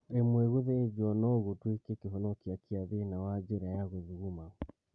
Rimwe gũthĩnjwo no gũtuĩke kĩhonia kia thĩna wa njĩra ya gũthuguma